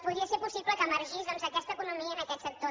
podia ser possible que emergís aquesta economia en aquest sector